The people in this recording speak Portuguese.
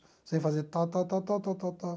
Você vai fazer tal, tal, tal, tal, tal, tal.